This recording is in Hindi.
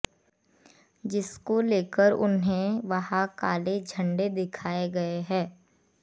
जिसको लेकर उन्हें वहां काले झंड़े दिखाए गए हैं